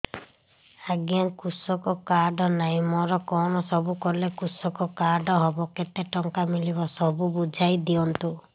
ଆଜ୍ଞା କୃଷକ କାର୍ଡ ନାହିଁ ମୋର କଣ ସବୁ କଲେ କୃଷକ କାର୍ଡ ହବ କେତେ ଟଙ୍କା ମିଳିବ ସବୁ ବୁଝାଇଦିଅନ୍ତୁ